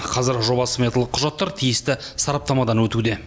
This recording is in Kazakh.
қазір жобалық сметалық құжаттар тиісті сараптамадан өтуде